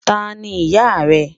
Táni iyá rẹ?